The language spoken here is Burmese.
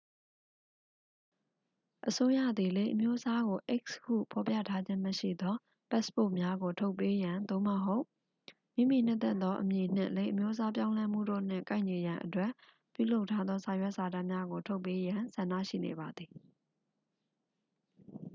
အစိုးရသည် လိင်အမျိုးအစားကို x ဟုဖော်ပြထားခြင်းမရှိသော ပတ်စ်ပို့များကိုထုတ်ပေးရန် သို့မဟုတ် မိမိနှစ်သက်သောအမည်နှင့် လိင်အမျိုးအစားပြောင်းလဲမှုတို့နှင့်ကိုက်ညီရန်အတွက် ပြုလုပ်ထားသောစာရွက်စာတမ်းများကို ထုတ်ပေးရန် ဆန္ဒရှိနေပါသည်။